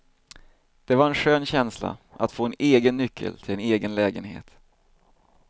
Det var en skön känsla att få en egen nyckel till en egen lägenhet.